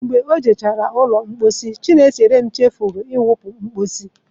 Mgbe o jechara ụlọ mposi, Chinecherem chefuru ịsacha iwupu mposi.